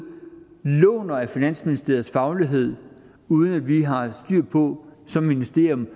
låner af finansministeriets faglighed uden at vi som ministerium